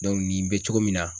nin bɛ cogo min na